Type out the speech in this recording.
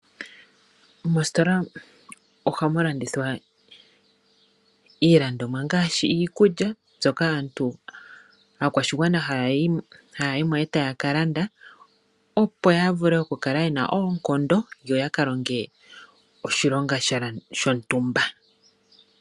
Moositola oha mu landithwa iilandomwa ngaashi iikulya moka aakwashigwana ha ya yimo e ta ya kalanda opo ya vule oku kala ye na oonkondo opo ya ka longe oshilonga shontumba.